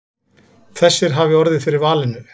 Þessir hafi orðið fyrir valinu.